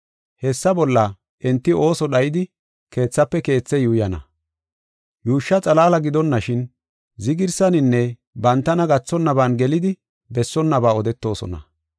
Hessa bolla enti ooso dhayidi keethafe keethe yuuyana. Yuushsha xalaala gidonashin, zigirsaninne bantana gathonnaban gelidi bessonnaba odetoosona.